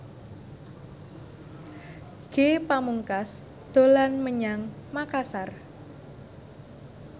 Ge Pamungkas dolan menyang Makasar